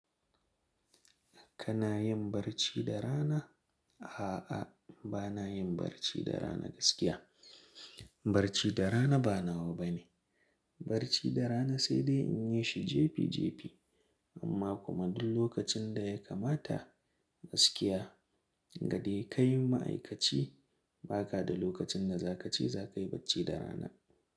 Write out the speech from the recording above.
Kana yin barci da rana? A'a, ba na yin barci da rana gaskiya. Barci da rana ba nawa bane. Barci da rana sai dai in yi shi jefi jefi. Amma kuma duk lokacin da ya kamata gaskiya, gadai kai ma'aikaci, ba ka da lokacin da za ka ce za ka yi barci da rana.